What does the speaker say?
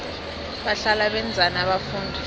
bahlala benzani abafundi